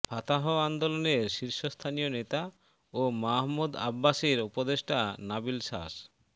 Fattah আন্দোলনের শীর্ষস্থানীয় নেতা ও মাহমুদ আব্বাসের উপদেষ্টা নাবিল শাস